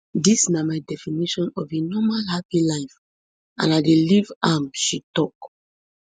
dis na my definition of a normal happy life and i dey live am she tok